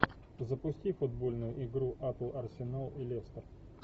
запусти футбольную игру апл арсенал и лестер